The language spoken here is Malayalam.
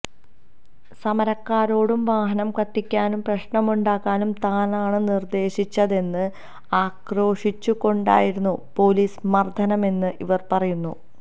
സമരക്കാരോടു വാഹനം കത്തിക്കാനും പ്രശ്നമുണ്ടാക്കാനും താനാണ് നിര്ദേശിച്ചതെന്ന് ആക്രോശിച്ചു കൊണ്ടായിരുന്നു പോലീസ് മര്ദനമെന്ന് ഇവര് പറയുന്നു